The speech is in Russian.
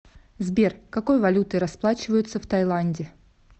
сбер какой валютой расплачиваются в тайланде